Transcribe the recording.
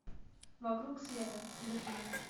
вокруг света берлин